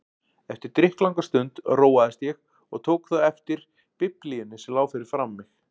Eftir drykklanga stund róaðist ég og tók þá eftir Biblíunni sem lá fyrir framan mig.